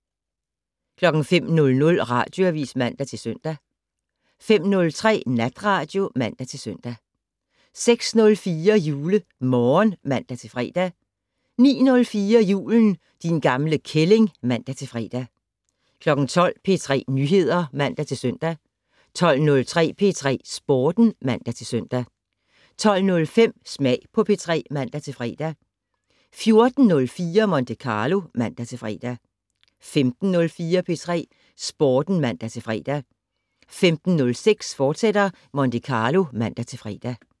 05:00: Radioavis (man-søn) 05:03: Natradio (man-søn) 06:04: JuleMorgen (man-fre) 09:04: Julen - din gamle kælling (man-fre) 12:00: P3 Nyheder (man-søn) 12:03: P3 Sporten (man-søn) 12:05: Smag på P3 (man-fre) 14:04: Monte Carlo (man-fre) 15:04: P3 Sporten (man-fre) 15:06: Monte Carlo, fortsat (man-fre)